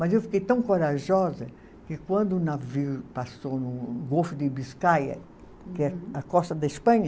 Mas eu fiquei tão corajosa que quando o navio passou no Golfo de, que é a costa da Espanha,